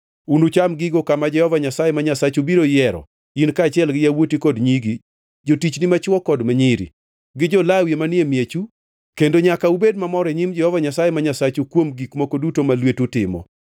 Unucham gigo kama Jehova Nyasaye ma Nyasachu biro yiero, in kaachiel gi yawuoti kod nyigi, jotichgi machwo kod ma nyiri, gi jo-Lawi manie miechu, kendo nyaka ubed mamor e nyim Jehova Nyasaye ma Nyasachu kuom gik moko duto ma lwetu timo.